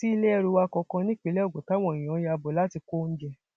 sí ilé ẹrù wa kankan nípínlẹ ogun táwọn èèyàn ya bò láti kó oúnjẹ